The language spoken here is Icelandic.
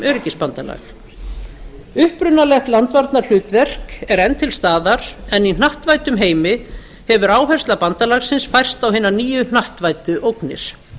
öryggisbandalag upprunalegt landvarnahlutverk er enn til staðar en í hnattvæddum heimi hefur áhersla bandalagsins færst á hinar nýju hnattvæddu ógnir